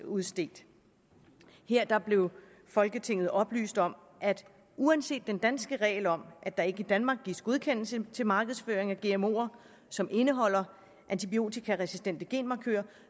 udstedt her blev folketinget oplyst om at uanset den danske regel om at der ikke i danmark gives godkendelse til markedsføring af gmoer som indeholder antibiotikaresistente genmarkører